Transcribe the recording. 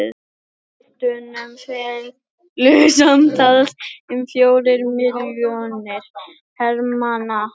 hjá miðveldunum féllu samtals um fjórir milljónir hermanna